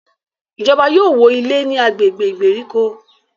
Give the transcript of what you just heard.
Ìjọba yóò wọ ilé ní agbègbè ìgbèríko